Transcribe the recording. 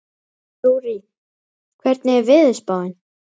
Rúrí, hvernig er veðurspáin?